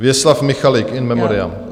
Věslav Michalik, in memoriam.